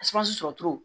sɔrɔ cogo